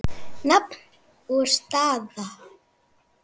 Nafn og staða?